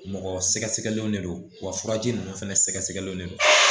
Mɔgɔ sɛgɛsɛgɛlenw de don wa furaji ninnu fɛnɛ sɛgɛsɛgɛlen de don